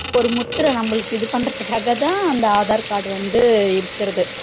ஒரு முத்திரை நம்மளுக்கு இது பண்றதுக்காகதா அந்த aadhar card வந்து இருக்குறது